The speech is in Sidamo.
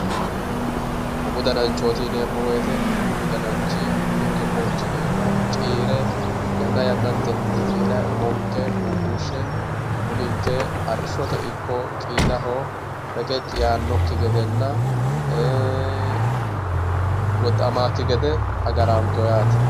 Umu dananchooti yineemmowoyite uminke qoonchi iima ciire yanna yannatenni ciirayi umonke guggushshe uminke arrishshote ikko qiidaho reqecci yaannokki gedenna gadda"ammannokki gede agarannonkeho yaate.